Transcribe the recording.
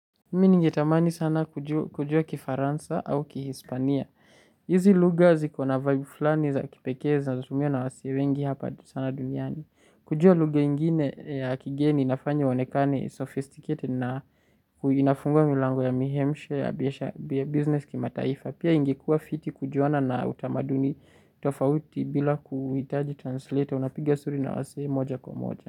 Mi ningetamani sana kujua kifaransa au kihispania. Hizi lugha zikona vibe fulani za kipekee zinazotumiwa na wasee wengi hapa sana duniani. Kujua lugha ingine ya kigeni inafanya onekane sophisticated na inafungua milango ya mihemshe ya business kima taifa. Pia ingekuwa fiti kujuana na utamaduni tofauti bila kuhitaji translator unapiga story na wasi moja kwa moja.